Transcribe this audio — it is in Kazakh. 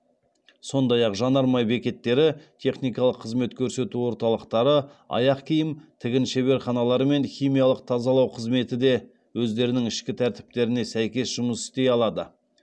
сондай ақ жанармай бекеттері техникалық қызмет көрсету орталықтары аяқ киім тігін шеберханалары мен химиялық тазалау қызметі де өздерінің ішкі тәртіптеріне сәйкес жұмыс істей алады